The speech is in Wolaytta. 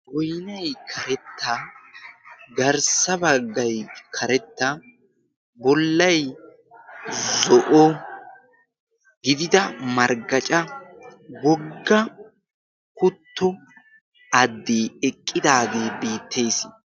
goynay karetta garssabaggay karetta bollay zo'o gidida marggaca bogga kutto addll'e eqqidaagee beettees